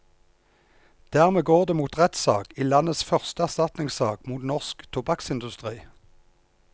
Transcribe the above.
Dermed går det mot rettssak i landets første erstatningssak mot norsk tobakksindustri.